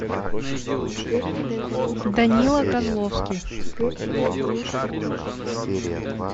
данила козловский